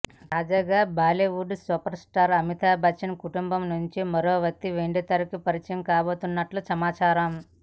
తాజాగా బాలీవుడ్ సూపర్స్టార్ అమితాబ్ బచ్చన్ కుటుంబం నుంచి మరో వ్యక్తి వెండితెరకు పరిచయం కాబోతున్నట్లు సమాచారం